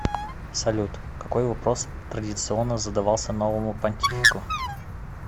салют какой вопрос традиционно задавался новому понтифику